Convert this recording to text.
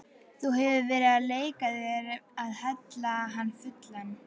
Þú hefur verið að leika þér að hella hann fullan.